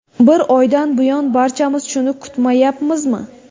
Bir oydan buyon barchamiz shuni kutmayapmizmi?